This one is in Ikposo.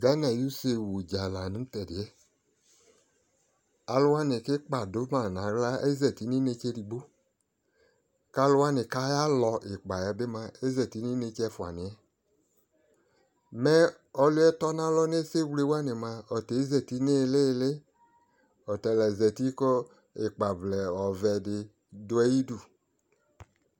Gana ayʋ se wudza di la nʋ tediɛ Alʋ wani ki ikpa dʋ ma naɣla ezati nʋ inetse digbo Ka alʋwani kayalɔ ikpa yɛ bi moa, ezati nʋ inetse ɛfuaniɛ Mɛ ɔlʋe tɔ na lɔ nʋ ɛsɛwle wani moa, ɔta ezati ni ili ili Ɔtala zati kʋ ikpavlɛ ɔvɛ di dʋ ayidu